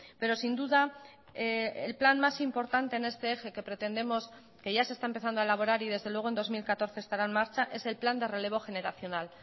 pero sin duda el plan más importante en este eje que pretendemos que ya se está empezando a elaborar y desde luego en dos mil catorce estará en marcha es el plan de relevo generacional